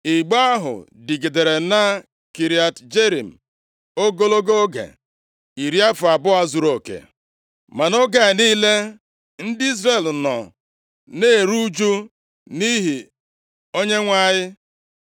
Igbe ahụ dịgidere na Kiriat Jearim ogologo oge, iri afọ abụọ zuruoke. Ma nʼoge a niile, ndị Izrel nọ na-eru ụjụ nʼihi Onyenwe anyị. + 7:2 Eleghị anya nʼihi na \+nd Onyenwe anyị\+nd* chepuru ihu ya site nʼebe ha nọ.